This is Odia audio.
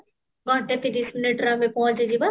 ଘଣ୍ଟେ ତିରିଶ minute ରେ ଆମେ ପହଞ୍ଚି ଯିବା